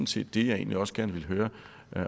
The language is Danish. set det jeg egentlig også gerne ville høre